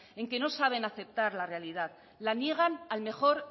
en que no saben aceptar la realidad la niegan al mejor